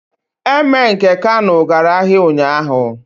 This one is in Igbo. Emir nke Kano gara ahịa ụnyahụ.